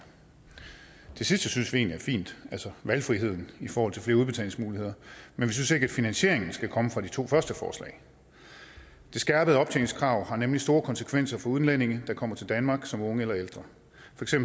det sidste synes vi egentlig er fint altså valgfriheden i forhold til flere udbetalingsmuligheder men vi synes ikke at finansieringen skal komme fra de to første forslag det skærpede optjeningskrav har nemlig store konsekvenser for udlændinge der kommer til danmark som unge eller ældre